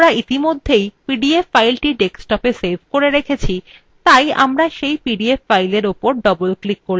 যেহেতু আমরা ইতিমধ্যেই pdf file ডেস্কটপে সেভ করেছি আমরা এখন পিডিএফ file উপর double click করব